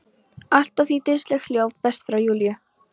Allt að því dýrslegt hljóð berst frá Júlíu.